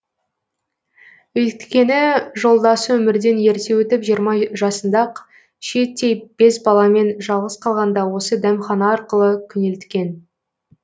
өйткені жолдасы өмірден ерте өтіп жиырма жасында ақ шиеттей бес баламен жалғыз қалғанда осы дәмхана арқылы күнелткен